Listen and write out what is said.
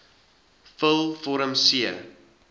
vul vorm c